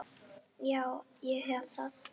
Já, ég hef það.